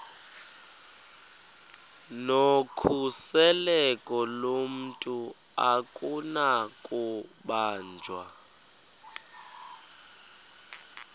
nokhuseleko lomntu akunakubanjwa